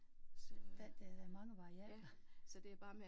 Der der er da mange variabler